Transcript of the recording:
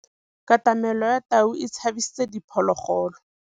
Katamêlô ya tau e tshabisitse diphôlôgôlô.